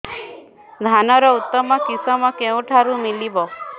ଧାନର ଉତ୍ତମ କିଶମ କେଉଁଠାରୁ ମିଳିବ